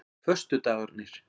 föstudagarnir